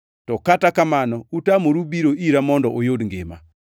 to kata kamano utamoru biro ira mondo uyud ngima.